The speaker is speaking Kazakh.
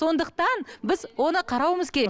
сондықтан біз оны қарауымыз керек